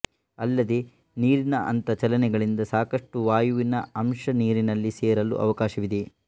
ಅಲ್ಲದೆ ನೀರಿನ ಅಂಥ ಚಲನೆಗಳಿಂದ ಸಾಕಷ್ಟು ವಾಯುವಿನ ಅಂಶ ನೀರಿನಲ್ಲಿ ಸೇರಲೂ ಅವಕಾಶವಿದೆ